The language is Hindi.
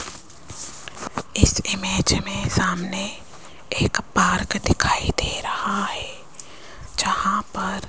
इस इमेज मे सामने एक पार्क दिखाई दे रहा है जहाँ पर --